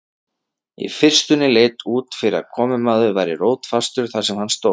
Í fyrstunni leit út fyrir að komumaður væri rótfastur þar sem hann stóð.